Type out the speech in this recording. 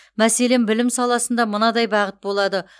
мәселен білім саласында мынадай бағыт болады